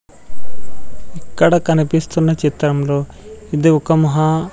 ఇక్కడ కనిపిస్తున్న చిత్రంలో ఇది ఒక మహా--